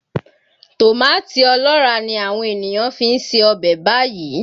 Tòmátì ọlọ́ràá ni àwọn ènìyàn fi ń se ọbẹ̀ báyìí